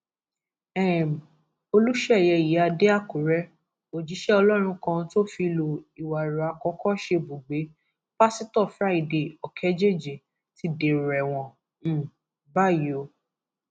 um olùṣeyẹ ìyíáde àkùrẹ òjíṣẹ ọlọrun kan tó fìlú ìwàrò àkọkọ ṣebùgbé pásítọ friday òkèjèjì ti dèrò ẹwọn um báyìí o